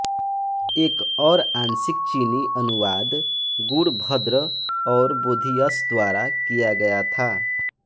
एक और आंशिक चीनी अनुवाद गुणभद्र और बोधियश द्वारा किया गया था